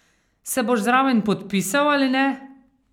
Se boš zraven podpisal ali ne?